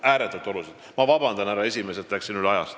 Ma palun vabandust, härra esimees, et läksin ajast üle!